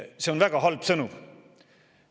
See on väga halb sõnum.